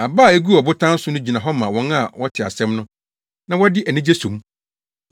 Aba a eguu ɔbotan so no gyina hɔ ma wɔn a wɔte asɛm no, na wɔde anigye so mu.